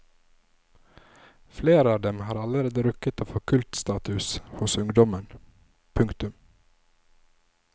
Flere av dem har allerede rukket å få kultstatus hos ungdommen. punktum